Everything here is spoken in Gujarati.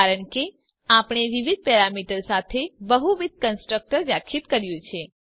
કારણ કે આપણે વિવિધ પેરામીટર સાથે બહુવિધ કન્સ્ટ્રક્ટર વ્યાખ્યાયિત કર્યું છે